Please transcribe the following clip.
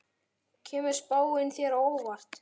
Kemur spáin þér á óvart?